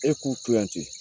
E k'utɛ